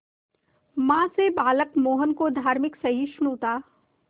मां से बालक मोहन को धार्मिक सहिष्णुता